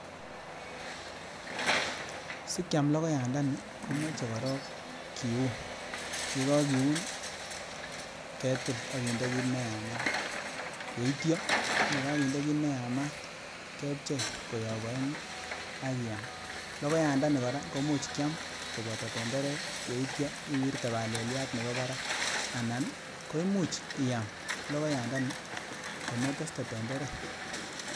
Sikiam lokoyandani komoche korok kiiun, yekokiuun ketil akinde kiit neyamaat, yeityo yekakinde kiit neyamat kepchei koyob oengu akyama, lokoyandani kora kimuuch kiam koboto tenderek yeityo iwirtee baleliat nebo barak anan koimuch iyam lokoyandani kometeste tenderek.